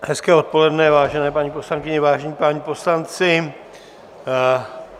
Hezké odpoledne, vážené paní poslankyně, vážení páni poslanci.